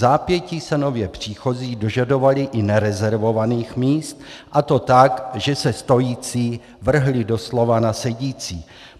Vzápětí se nově příchozí dožadovali i nerezervovaných míst a to tak, že se stojící vrhli doslova na sedící.